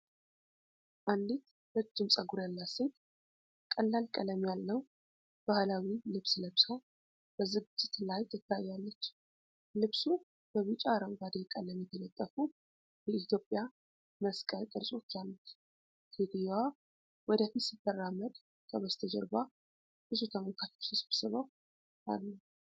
አንዲት ረጅም ጸጉር ያላት ሴት ቀላል ቀለም ያለው ባህላዊ ልብስ ለብሳ በዝግጅት ላይ ትታያለች። ልብሱ በቢጫ አረንጓዴ ቀለም የተጠለፉ የኢትዮጵያ መስቀል ቅርጾች አሉት። ሴትየዋ ወደ ፊት ስትራመድ ከበስተጀርባ ብዙ ተመልካቾች ተሰብስበው አሉ።